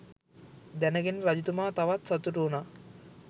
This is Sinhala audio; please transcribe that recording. දැනගෙන රජතුමා තවත් සතුටු වුනා.